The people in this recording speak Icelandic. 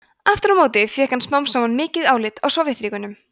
aftur á móti fékk hann smám saman mikið álit á sovétríkjunum